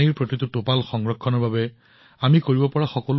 আমি প্ৰতিটোপাল পানী বচাবলৈ যি পাৰো কৰিব লাগিব